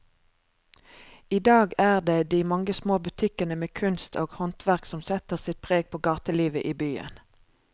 I dag er det de mange små butikkene med kunst og håndverk som setter sitt preg på gatelivet i byen.